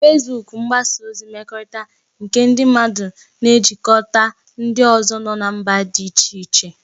Fesbuk bụ mgbasa ozi mmekọrịta nke ndị mmadụ na-ejikọta ndị ọzọ nọ na mba dị iche iche